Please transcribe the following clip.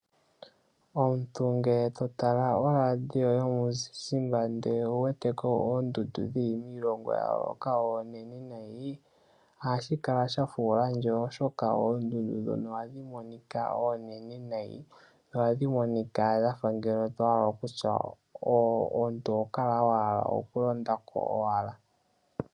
Omuntu ngele totala oladio yomuzizimbe ndele owu weteko oondundu dhili miilongo yayoloka oonene nayi ohashi kala shafula ndje oshoka oondundu ohadhi monika onene nayi, tadhi monika ando tohala okutya omuntu oho kala owahala okulonda ko owala.